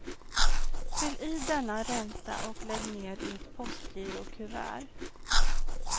Fyll i denna ränta och lägg ner i ett postgirokuvert.